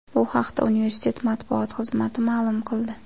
Bu haqda universitet matbuot xizmati ma’lum qildi .